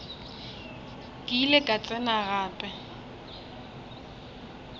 ke ile ka tsena gape